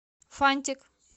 фантик